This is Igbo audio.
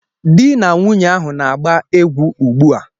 Di na nwunye ahụ na-agba egwu ugbu a